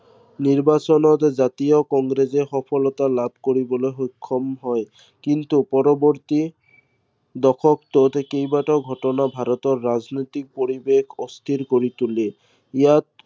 নিৰ্বাচনত জাতীয় কংগ্ৰেছে সফলতা লাভ কৰিবলৈ সক্ষম হয়। কিন্তু পৰৱৰ্তী দশকটোত কেইবাটাও ঘটনাই ভাৰতৰ ৰাজনৈতিক পৰিৱেশ অস্থিৰ কৰি তুলে। ইযাত